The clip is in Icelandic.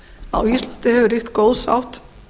á íslandi hefur ríkt góð sátt